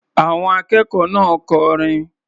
Àwọn akẹ́kọ̀ọ́ náà kọrin.